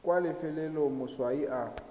kwa lefelong le moswi a